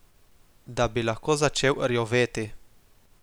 Da bi lahko začel rjoveti.